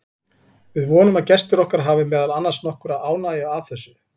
Við vonum að gestir okkar hafi meðal annars nokkra ánægju af þessu.